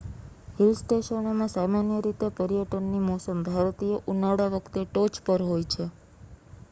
hill સ્ટેશનોમાં સામાન્ય રીતે પર્યટનની મોસમ ભારતીય ઉનાળા વખતે ટોચ પર હોય છે